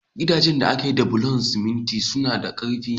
Gidajen da aka gina da bulan siminti suna da karfi.